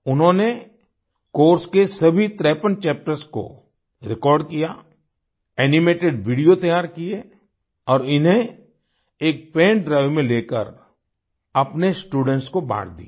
उन्होंनेकोर्स के सभी53 तरेपन चैप्टर्स को रेकॉर्ड किया एनिमेटेड वीडियो तैयार किये और इन्हें एक पेन ड्राइव में लेकर अपने स्टूडेंट्स को बाँट दिए